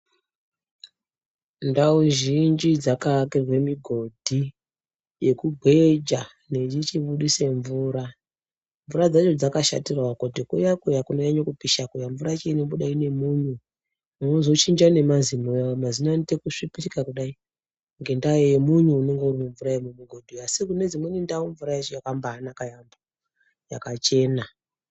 Ndau zhinji dzakaakirwe migodhi yekugweja yeichibudise mvura mvura dzacho dzakashatirawo kuti kuya kuya kunonyanye kupisha kuya mvura yacho inobuda ine munyu inozo chinja nemazino mazino anoite kusvipirika kudai ngendaa yemunyu unenge uri mumvura yemuhodhi asi kune dzimweni ndau mvura yacho yakambanaka yaampo yakachena.